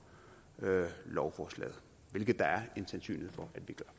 lovforslaget hvilket der er en sandsynlighed for